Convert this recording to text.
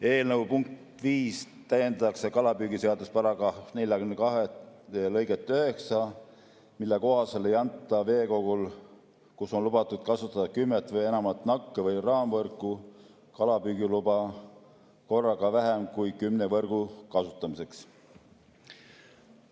Eelnõu punktiga 5 täiendatakse kalapüügiseaduse § 42 lõiget 9, mille kohaselt ei anta veekogul, kus on lubatud kasutada kümmet või enamat nakke‑ või raamvõrku, kalapüügiluba korraga vähem kui kümne võrgu kasutamiseks.